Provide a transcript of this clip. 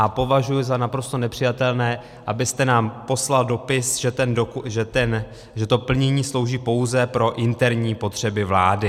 A považuji za naprosto nepřijatelné, abyste nám poslal dopis, že to plnění slouží pouze pro interní potřeby vlády.